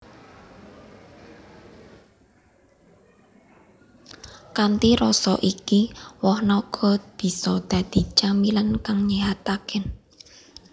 Kanthi rasa iki woh naga bisa dadi camilan kang nyéhataké